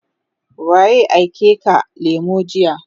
waye aike ka lemu jiya?